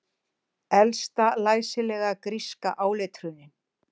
Elsta læsilega gríska áletrunin